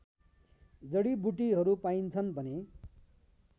जडिबुटीहरू पाइन्छन् भने